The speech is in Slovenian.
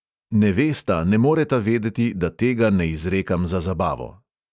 Ne vesta, ne moreta vedeti, da tega ne izrekam za zabavo.